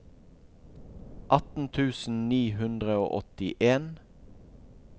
atten tusen ni hundre og åttien